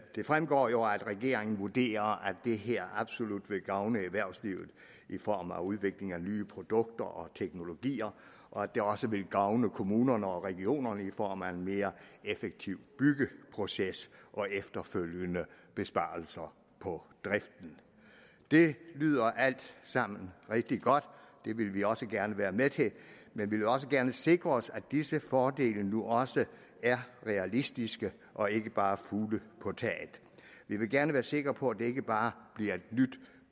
det fremgår jo at regeringen vurderer at det her absolut vil gavne erhvervslivet i form af udvikling af nye produkter og teknologier og at det også vil gavne kommunerne og regionerne i form af en mere effektiv byggeproces og efterfølgende besparelser på driften det lyder alt sammen rigtig godt og det vil vi også gerne være med til men vi vil også gerne sikre os at disse fordele nu også er realistiske og ikke bare er fugle på taget vi vil gerne være sikre på at det ikke bare bliver et nyt